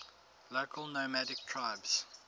local nomadic tribes